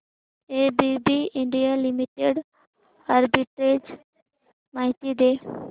ABB India limited arbitrage माहिती दे